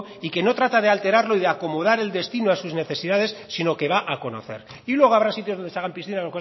y que no trata de alterarlo y acomodar el destino a sus necesidades sino que va a conocer y luego habrá sitios donde se hagan